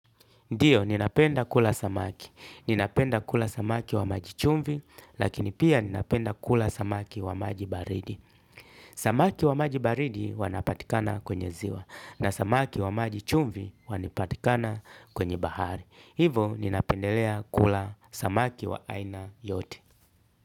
Ndiyo, ninapenda kula samaki. Ninapenda kula samaki wa maji chumvi, lakini pia ninapenda kula samaki wa maji baridi. Samaki wa maji baridi wanapatikana kwenye ziwa, na samaki wa maji chumvi wanipatikana kwenye bahari. Hivo, ninapendelea kula samaki wa aina yote.